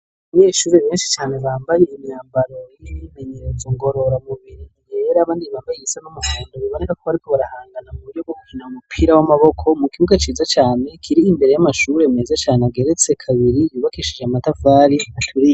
Muyeshuri menshi cane bambaye imyambaro y'imimenyerezo ngorora mubiri yera abandi babayisa n'umahunda babanega kobariko barahangana ku buryo gukina umupira w'amaboko mu kiuka ciza cane kiri imbere y'amashure meza cane ageretse kabiri yubakeshije amatavali aturi.